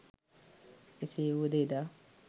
එසේ වුවද එදා